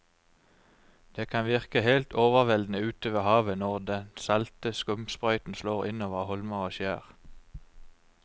Det kan virke helt overveldende ute ved havet når den salte skumsprøyten slår innover holmer og skjær.